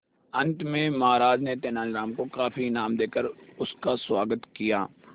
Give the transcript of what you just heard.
अंत में महाराज ने तेनालीराम को काफी इनाम देकर उसका स्वागत किया